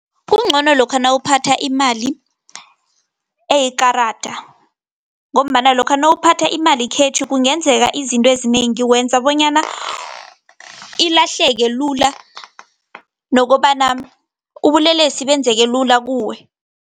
Kuncono lokha nawuphatha imali, eyekarada , ngombana lokha nawuphatha imali khetjhi, kungenzeka izinto ezinengi, wenza bonyana ilahleke lula, nokobana ubulelesi benzeke lula kuwe.